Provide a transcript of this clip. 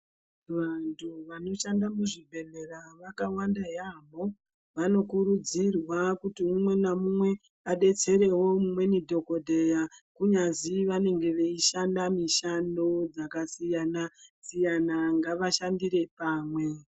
vantu vanoshanda muzvibhehlera vakawanda yamho vanokurudzirwa kuti umwenaumwe adetserewo umweni dhokodheya kunyazi vanenge veishanda mishando dzakasiyanasiyana ngavashandire pamwe.